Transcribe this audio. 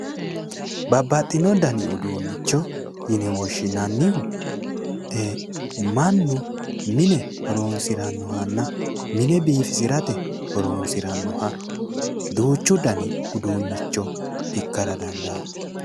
Babbaxino dani uduunnicho yine woshshinannihu mannu mine horonsirannohanna mine biifisirate horonsiranno duuchu dani uduunnicho ikkara dandaanno.